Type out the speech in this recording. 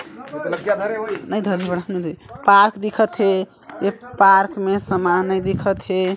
Park दिखत हे ये पार्क मे सामान दिखत हे।